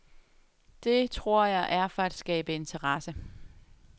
Det, tror jeg, er for at skabe interesse.